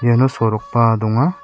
iano sorokba donga.